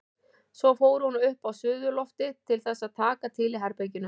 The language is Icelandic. Svo fór hún upp á suðurloftið til þess að taka til í herberginu.